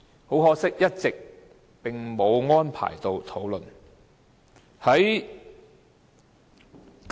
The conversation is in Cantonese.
很可惜，這議題一直並無安排討論。